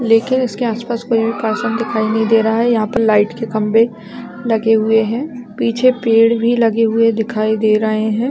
लेकिन उसके आस-पास कोई भी पर्सन दिखाई नहीं दे रहा है यहाँ पर लाइट के खम्बे लगे हुए है पीछे पेड़ भी लगे हुए दिखाई दे रहे है ।